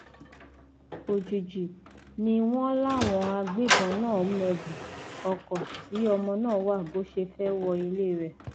òjijì ni wọn láwọn agbébọn náà mẹbùú ọkọ tí ọmọ náà wà bó ṣe fẹẹ wọ ilé rẹ